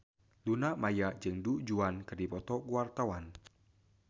Luna Maya jeung Du Juan keur dipoto ku wartawan